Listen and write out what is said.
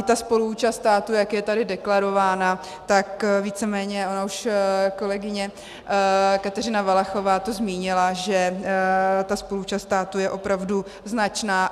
I ta spoluúčast státu, jak je tady deklarována, tak víceméně, ona už kolegyně Kateřina Valachová to zmínila, že ta spoluúčast státu je opravdu značná.